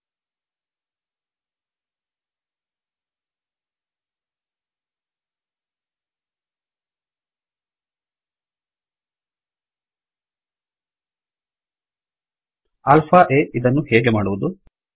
alpha ಆ ಇದನ್ನು ಹೇಗೆ ಮಾಡುವುದು160